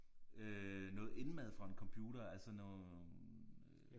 Øh noget indmad fra en computer altså noget